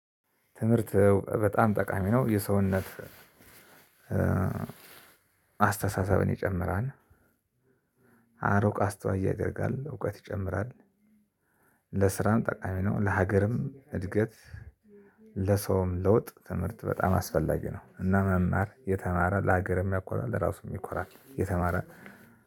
ትምህርት በጣም ጠቃሚ ነው። የሰውነት አስተሳሰብን ይጨምራል። አርቆ አስተዋይ ያደርጋል። እውቀት ይጨምራል። ለስራም ጠቃሚ ነው። ለሀገርም እድገት። ለሰውም ለውጥ ትምህርት በጣም አስፈላጊ ነው። እና መማር የተማረ ለሀገርም ያኳራል ለራሱም ይኳራል የተማረ